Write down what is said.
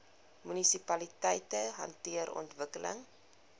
munisipaliteite hanteer ontwikkeling